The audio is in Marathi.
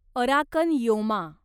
Arakan Yoma